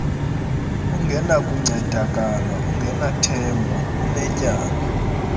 ungenakuncedakala ungenathemba unetyala